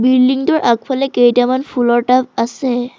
বিল্ডিঙটোৰ আগফালে কেইটামান ফুলৰ টাব আছে--হ।